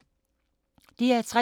DR P3